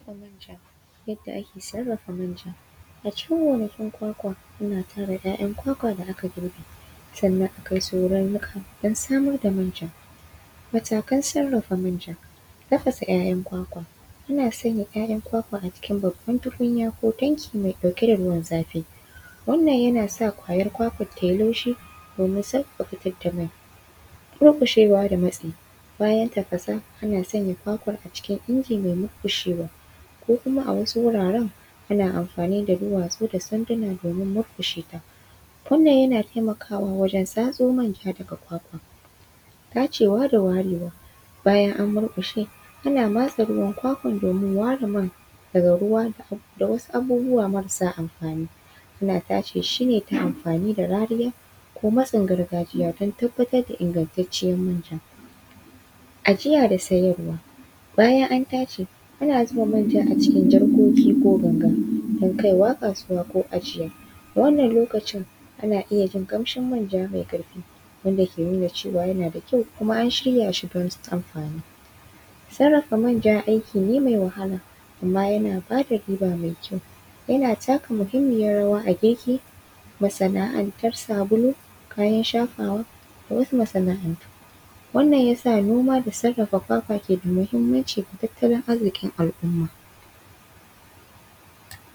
Manja, yadda ake sarafa manja, a cikin gonakin kwakwa ana tara ‘ya’yan kwakwa da aka girbe sannan akai nuka don samar da manja, matakan sarafa manja tafasa ‘ya’yan kwakwa ana sanya ‘ya’yan kwakwa a cikin babban tukunya ko tanki mai ɗauke da ruwan zafi wannan yana sa ƙwayan kwakwan tayi laushi domin sarafa shi, dorkushawa da matsi bayan tafasan ana sanya kwakwan a cikin inji mai murkushewa ko kuma a wasu wuraren ana amfani da duwatsu da sanduna domin murkushe ta, wannan yana taimakawa wajen tsatso manja daga kwakwa, tashewa da warewa bayan an murkushe ana matse ruwan kwakwan domin ware man daga ruwa da wasu abubuwa marasa amfani ana tace shi ne ta amfani rariya ko masan gargajiya don tabbatar da ingantaciyar manja, ajiya da siyarwa bayan an tace ana zuba manja a cikin jarkoki ko ganga don kaiwa kasuwa ko ajiya wannan lokacin ana iya jin kamshin manja mai karfi wanda ke nuna cewa yana da kyau kuma an shirya shi don amfani, sarafa manja aiki ne mai wahala amma yana bada riba mai kyau yana taka muhimmiyar rawa a gefe masana’antar sabulu kayan shafawa da wasu masana’antu wannan yasa noma da sarafa kwakwa ke da muhimmanci da tattalin arzikin al’umma.